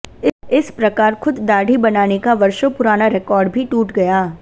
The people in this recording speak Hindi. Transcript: इस प्रकार खुद दाढ़ी बनाने का वर्षों पुराना रिकार्ड भी टूट गया